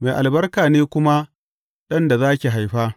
Mai albarka ne kuma ɗan da za ki haifa!